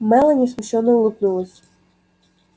мелани смущённо улыбнулась